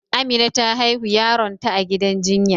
Amina ta haihu yaron ta a gidan ginya,